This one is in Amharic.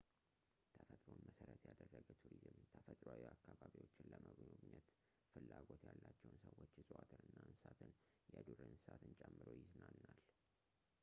ተፈጥሮን መሠረት ያደረገ ቱሪዝም ተፈጥሮአዊ አካባቢዎችን ለመጎብኘት ፍላጎት ያላቸውን ሰዎች እፅዋትንና እንስሳትን የዱር እንስሳትን ጨምሮ ይዝናናል